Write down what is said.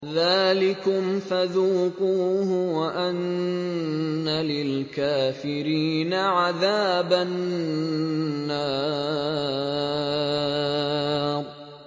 ذَٰلِكُمْ فَذُوقُوهُ وَأَنَّ لِلْكَافِرِينَ عَذَابَ النَّارِ